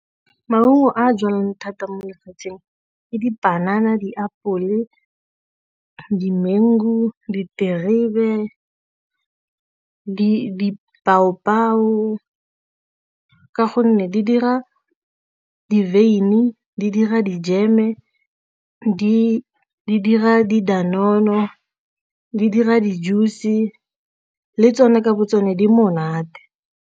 Maungo a jalwang thata mo lefatsheng le dipanana, diapole, dimengu, diterebe, ka gonne di dira di-wyn-i, di dira dijeme di dira di-danone-no, di dira di-juice le tsone kabo tsone di monate.